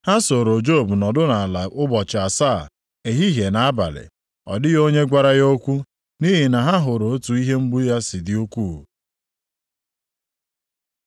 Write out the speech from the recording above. Ha sooro Job nọdụ nʼala ụbọchị asaa, ehihie na abalị. Ọ dịghị onye gwara ya okwu nʼihi na ha hụrụ otu ihe mgbu ya si dị ukwuu.